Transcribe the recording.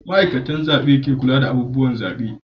Ma'aikatar zabe ke kula da abubuwan zabe